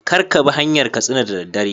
Kar Kabi hanyar katsina da daddare